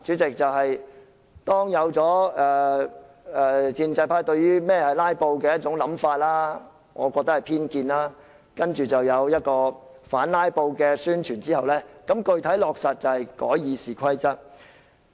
至於第三步，主席，建制派對甚麼是"拉布"出現一種我認為是偏見的想法後，接着他們便有反"拉布"的宣傳，然後具體落實的做法便是修改《議事規則》。